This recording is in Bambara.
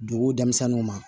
Dugu denmisɛnninw ma